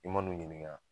I man'u ɲininka